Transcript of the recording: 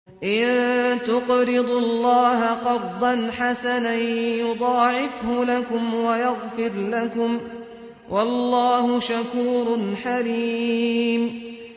إِن تُقْرِضُوا اللَّهَ قَرْضًا حَسَنًا يُضَاعِفْهُ لَكُمْ وَيَغْفِرْ لَكُمْ ۚ وَاللَّهُ شَكُورٌ حَلِيمٌ